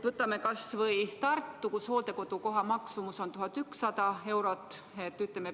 Vaatame kas või Tartut, kus hooldekodukoha maksumus on 1100 eurot.